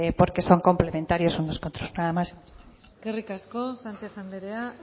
porque son complementarios unos y otros nada más muchas gracias eskerrik asko sánchez anderea